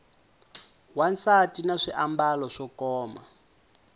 wansati na swiambalo swo koma